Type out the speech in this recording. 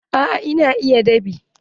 Eh na iya dab'i.